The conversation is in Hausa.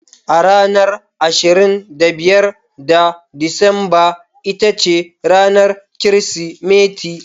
A ranar ashirin da biyar ga Disamba ita ce ranar Kirsimeti.